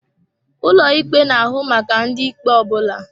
Ụlọ ikpe na-ahụ maka ụdị ikpe ọ bụla.